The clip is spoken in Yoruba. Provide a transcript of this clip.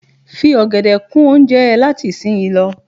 Fi ọ̀gẹ̀dè kún oúnjẹ ẹ láti ìsin yìí lọ.